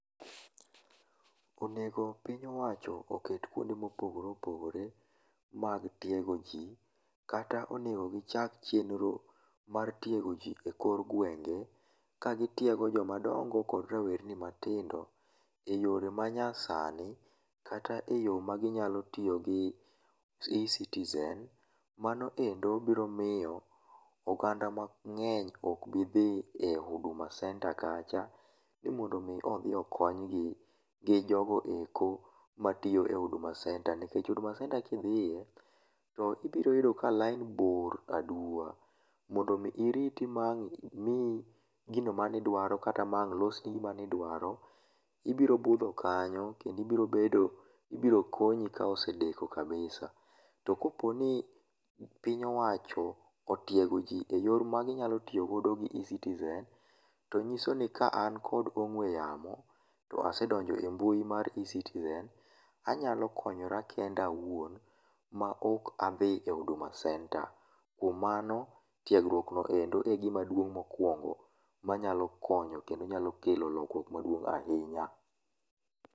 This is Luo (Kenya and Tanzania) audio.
Onego piny owacho oket kwonde ma opogore opogore mag tiego ji kata onego gi chak chenro mar tiego ji e kor gwenge ka gi tiego joma dongo kod rawerni matindo e yore ma nya sani kata e yo ma ginyalo tiyo gi e-citizen mano e ndo biro miyo oganda ma ngeny ok biro dhiyo e huduma center kacha ni mondo omi okony gi jogo e ko ma tiyo e huduma center nikech huduma center ka idhie to ibiro yudo ka line bor a duwa mondo mi iriti kata gino mane idwaro kata ang losni gima idwaro ibiro rito ibiro budho kanyo kendo ibiro bedo kendo ibiro konyi ka osedeko kabisa to ka poni piny owacho otiego ji e yor mi nyalo tigo gi ecitizen to nyiso ni ka an kod ongwe yamo to asedonjo e mbui mar ecitizen anyalo konyora kenda awuon ma ok adhi e huduma center kuom mano tiegruok no endo e gima duong mokwongo ma nyalo konyo kendo nyalo kelo lokruok ma duong ahinya.